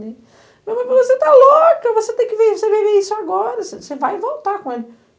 Minha mãe falou, você está louca, você tem que viver isso agora, você vai voltar com ele.